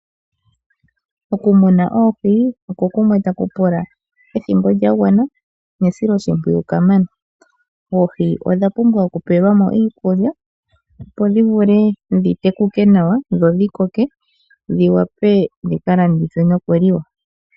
Okumuna oohi oko kumwe taku pula ethimbo lyagwana nesiloshimpwiyu kamana. Oohi odha pumbwa okupewelwa mo iikulya opo dhi vule dhi tekuke nawa dho dhi koke dhi vule dhi kalandithwe nokuliwa.